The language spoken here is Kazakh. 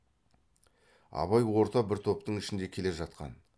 абай орта бір топтың ішінде келе жатқан